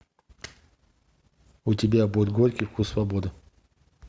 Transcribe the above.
у тебя будет горький вкус свободы